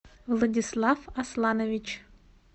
владислав асланович